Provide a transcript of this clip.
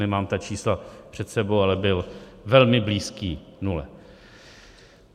Nemám ta čísla před sebou, ale byl velmi blízký nule.